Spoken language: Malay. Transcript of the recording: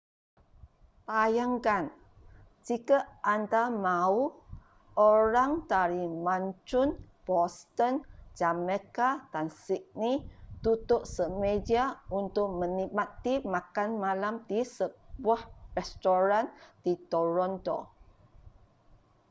bayangkan jika anda mahu orang dari mancun boston jamaica dan sydney duduk semeja untuk menikmati makan malam di sebuah restoran di toronto